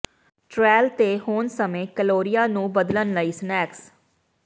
trail ਤੇ ਹੋਣ ਸਮੇਂ ਕੈਲੋਰੀਆਂ ਨੂੰ ਬਦਲਣ ਲਈ ਸਨੈਕਸ